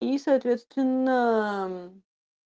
и соответственно